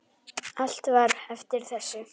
Allt var eftir þessu.